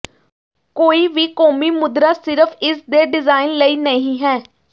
ਕੋਈ ਵੀ ਕੌਮੀ ਮੁਦਰਾ ਸਿਰਫ ਇਸ ਦੇ ਡਿਜ਼ਾਇਨ ਲਈ ਨਹੀ ਹੈ